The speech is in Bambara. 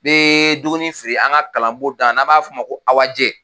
Bɛ dumuni feere an ka kalanbon da la n'a b'a f'o ma ko Awajɛ